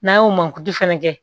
N'an y'o mankutu fɛnɛ kɛ